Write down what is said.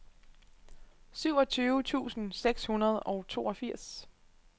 syvogtyve tusind seks hundrede og toogfirs